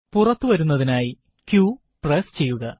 പുറത്തു വരുന്നതിനായി q press ചെയ്യുക